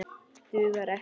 Dugar ekki!